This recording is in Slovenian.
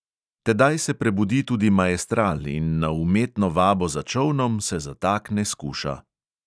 Tedaj se prebudi tudi maestral in na umetno vabo za čolnom se zatakne skuša.